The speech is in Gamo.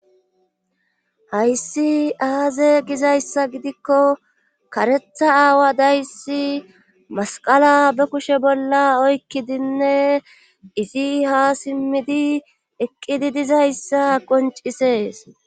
hayssi aaze gizayssa gidikko karetha aawa dayssi masqala be kushe bolla oykkidinne izi ha simmidi eqqidi dizayssa qoncisees